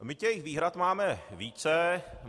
My těch výhrad máme více.